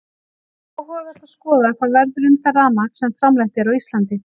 Það er áhugavert að skoða hvað verður um það rafmagn sem framleitt er á Íslandi.